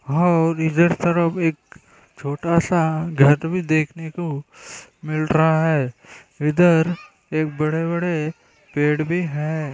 और इधर तरफ एक छोटासा घर भी देखने को मिल रहा है इधर एक बड़े-बड़े पेड़ भी है।